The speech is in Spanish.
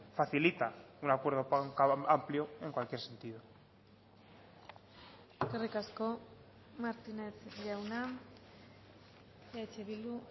facilita un acuerdo amplio en cualquier sentido eskerrik asko martínez jauna eh bildu